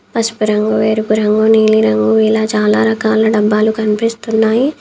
పసుపు రంగు ఎరుపు రంగు నీలి రంగు ఇలా చాలా రకాల డబ్బాలు కనిపిస్తున్నాయి.